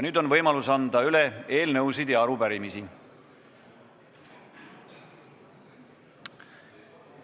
Nüüd on võimalus anda üle eelnõusid ja arupärimisi.